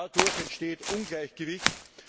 Dadurch entsteht Ungleichgewicht.